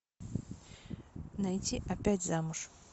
найти опять замуж